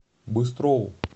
быстрову